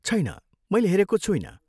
छैन, मैले हेरेको छुइनँ।